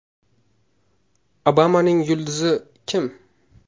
Obamaning yulduzi kim?